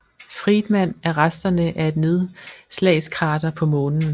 Fridman er resterne af et nedslagskrater på Månen